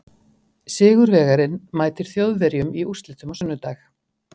Sigurvegarinn mætir Þjóðverjum í úrslitum á sunnudag.